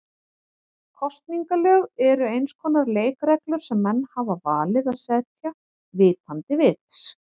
Kosningalög eru eins konar leikreglur sem menn hafa valið að setja vitandi vits.